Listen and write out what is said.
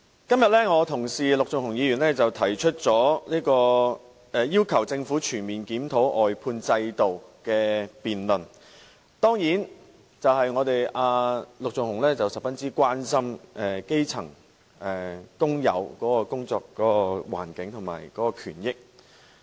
今天我的同事陸頌雄議員提出要求政府全面檢討外判制度的議案，當然是因為陸頌雄議員十分關心基層工友的工作環境和權益。